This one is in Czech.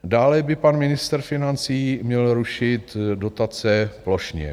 Dále by pan ministr financí měl rušit dotace plošně.